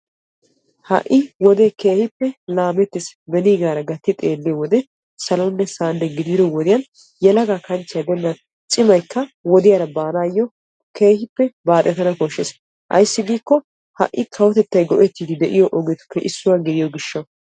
Ha'i wodee keehippe laamettiis beniigara gatti xeelliyoo wode salonne sa"anne gidido wodiyaan yelaga kanchchiyaa gidennan cimayikka wodiyaara baanayoo keehippe baaxettana koshshees. ayssi ha'i kawotettay go"ettiidi de'iyoo ogiyaappe issuwa gidiyoo gishshawu.